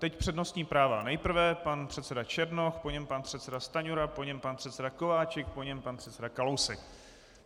Teď přednostní práva: nejprve pan předseda Černoch, po něm pan předseda Stanjura, po něm pan předseda Kováčik, po něm pan předseda Kalousek.